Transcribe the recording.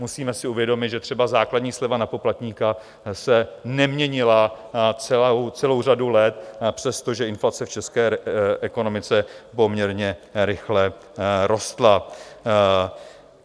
Musíme si uvědomit, že třeba základní sleva na poplatníka se neměnila celou řadu let, přestože inflace v české ekonomice poměrně rychle rostla.